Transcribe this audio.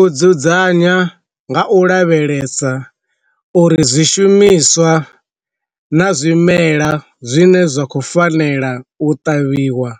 U dzudzanya nga u lavhelesa uri zwishumiswa na zwimela zwine zwa khou fanela u ṱavhiwa